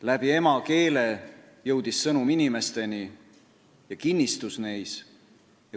Läbi emakeele jõudis sõnum inimesteni ja kinnistus neis.